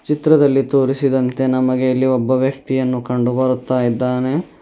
ಚಿತ್ರದಲ್ಲಿ ತೋರಿಸಿದಂತೆ ನಮಗೆ ಇಲ್ಲಿ ಒಬ್ಬ ವ್ಯಕ್ತಿಯನ್ನು ಕಂಡು ಬರುತ್ತಾ ಇದ್ದಾನೆ.